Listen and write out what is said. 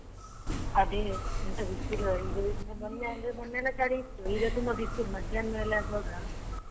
ಅದೆ ಎಂತ ಬಿಸಿಲು ಅಂದ್ರೆ ಮೊನ್ನೆ ಎಲ್ಲ ಚಳಿ ಇತ್ತು ಈಗ ತುಂಬ ಬಿಸಿಲು ಮಧ್ಯಾಹ್ನ್ನ್ ಮೇಲೆ ಆಗುವಾಗ .